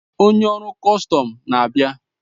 Onye ọrụ kọstọm na-abịa.